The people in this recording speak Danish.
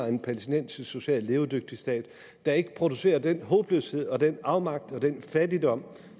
en palæstinensisk socialt levedygtig stat der ikke producerer den håbløshed og den afmagt og den fattigdom